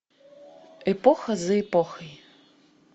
эпоха за эпохой